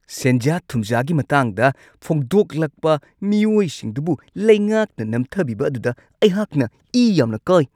ꯁꯦꯟꯖꯥ-ꯊꯨꯝꯖꯥꯒꯤ ꯃꯇꯥꯡꯗ ꯐꯣꯡꯗꯣꯛꯂꯛꯄ ꯃꯤꯑꯣꯏꯁꯤꯡꯗꯨꯕꯨ ꯂꯩꯉꯥꯛꯅ ꯅꯝꯊꯕꯤꯕ ꯑꯗꯨꯗ ꯑꯩꯍꯥꯛꯅ ꯏ ꯌꯥꯝꯅ ꯀꯥꯢ꯫